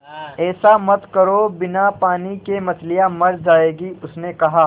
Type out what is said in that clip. ऐसा मत करो बिना पानी के मछलियाँ मर जाएँगी उसने कहा